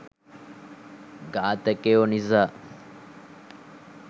ඝාතකයො නිසා..